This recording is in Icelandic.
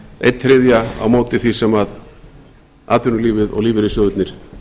einn þriðja á móti því sem atvinnulífið og lífeyrissjóðirnir